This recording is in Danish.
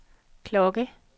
klokke